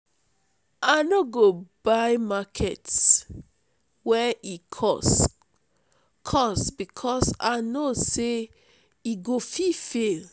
i no go buy market wen e cost cost because i know sey e go fall.